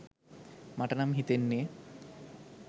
මටනම් හිතෙන්නෙ.